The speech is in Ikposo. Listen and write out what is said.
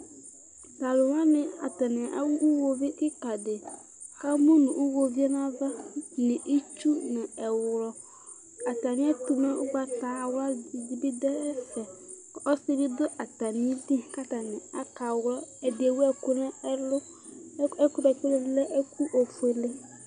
Talʋ wani atani awʋ iwoviʋ kikadi kʋ emʋnʋ iwoviʋ yɛ nʋ ava nʋ itsu nʋ ɛwlɔ atami ɛtʋ ʋgbatawla bidʋ ɛfɛ ɔsidi dʋ atami idʋ kʋ atani akawlɔ ɛdi ewʋ ɛkʋ nʋ ɛlʋ ɛkʋ ɛdi nʋ ɛdi lɛ ofuele